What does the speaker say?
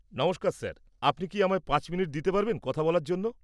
নমস্কার স্যার, আপনি কি আমায় পাঁচ মিনিট দিতে পারবেন কথা বলার জন্য?